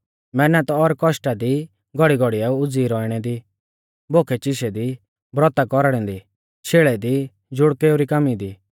मैहनत और कौष्टा दी घौड़ीघौड़ीऐ उज़ीई रौइणै दी बोखैचिशै दी ब्रौता कौरणै दी शेल़ै दी ज़ुड़केऊ री कामी दी